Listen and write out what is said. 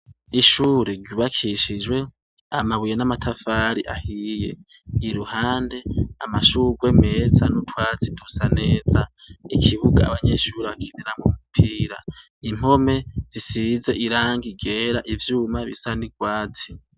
Ishure ryubakishijwe amabuye n'amatafari ahiye. Iruhande amashurwe meza n'utwatsi dusa neza. Ikibuga abanyeshure bakiniramwo umupira, impome zisize irangi ryera, ivyuma bisa n'urwatsi